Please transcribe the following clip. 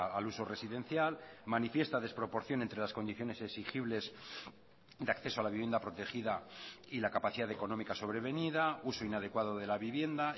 al uso residencial manifiesta desproporción entre las condiciones exigibles de acceso a la vivienda protegida y la capacidad económica sobrevenida uso inadecuado de la vivienda